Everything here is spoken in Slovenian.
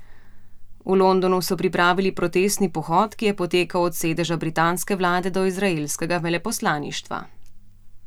V Londonu so pripravil protestni pohod, ki je potekal od sedeža britanske vlade do izraelskega veleposlaništva.